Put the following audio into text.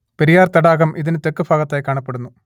പെരിയാർ തടാകം ഇതിന് തെക്കു ഭാഗത്തായി കാണപ്പെടുന്നു